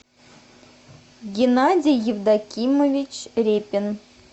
геннадий евдокимович репин